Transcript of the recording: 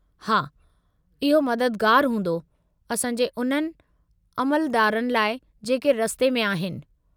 हा, इहो मददगारु हूंदो असां जे उन्हनि अमलदारनि लाइ जेके रस्ते में आहिनि।